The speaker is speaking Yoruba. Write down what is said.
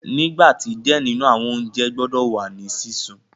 Nigba ti diẹ ninu awọn ounjẹ gbọdọ wa ni sisun